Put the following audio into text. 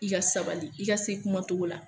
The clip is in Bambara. I ka sabali i ka se kuma cogo la.